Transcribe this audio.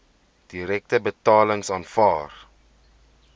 direkte betalings aanvaar